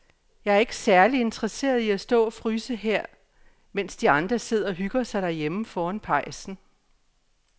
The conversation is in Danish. Jeg er ikke særlig interesseret i at stå og fryse her, mens de andre sidder og hygger sig derhjemme foran pejsen.